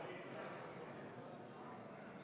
Kas Riigikogu liikmetel on soovi pidada läbirääkimisi?